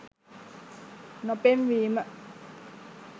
නො පෙන්වීමි